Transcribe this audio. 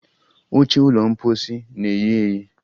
Oche ụlọ mposi na-eyi eyi